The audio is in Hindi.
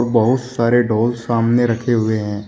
बहुत सारे ढोल सामने रखे हुए हैं।